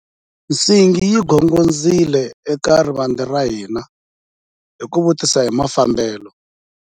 Nsingi yi gongondzile eka rivanti ra hina ku vutisa hi mafambelo.